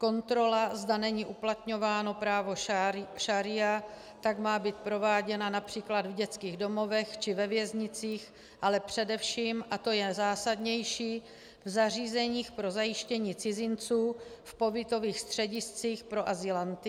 Kontrola, zda není uplatňováno právo šaría, tak má být prováděna například v dětských domovech či ve věznicích, ale především, a to je zásadnější, v zařízeních pro zajištění cizinců v pobytových střediscích pro azylanty.